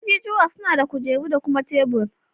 Ajijuwa suna da kujeru da kuma tebur